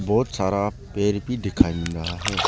बहोत सारा पेड़ भी दिखाई दे रहा है।